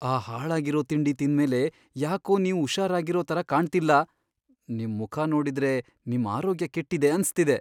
ಆ ಹಾಳಾಗಿರೋ ತಿಂಡಿ ತಿಂದ್ಮೇಲೆ ಯಾಕೋ ನೀವ್ ಹುಷಾರಾಗಿರೋ ಥರ ಕಾಣ್ತಿಲ್ಲ. ನಿಮ್ ಮುಖ ನೋಡಿದ್ರೆ ನಿಮ್ ಆರೋಗ್ಯ ಕೆಟ್ಟಿದೆ ಅನ್ಸ್ತಿದೆ.